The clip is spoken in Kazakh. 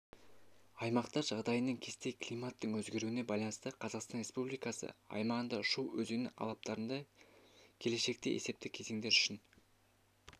аймақтар жағдайының кесте климаттың өзгеруіне байланысты қазақстан республикасы аймағында шу өзені алаптарында келешектегі есепті кезеңдер үшін